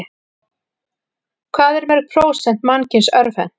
Hvað eru mörg prósent mannkyns örvhent?